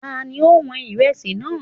Ta ni ó wọn Ìrẹsì náà?